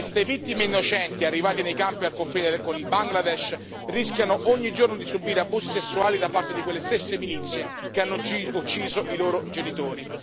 Queste vittime innocenti, arrivate nei campi al confine con il Bangladesh, rischiano ogni giorno di subire abusi sessuali da parte di quelle stesse milizie che hanno ucciso i loro genitori.